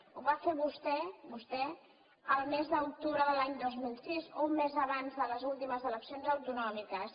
ho va fer vostè vostè el mes d’octubre de l’any dos mil sis un mes abans de les últimes eleccions autonòmiques